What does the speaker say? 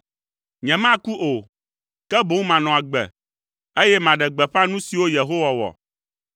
Nyemaku o, ke boŋ manɔ agbe, eye maɖe gbeƒã nu siwo Yehowa wɔ.